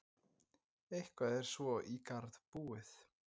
Eitthvað er svo í garð búið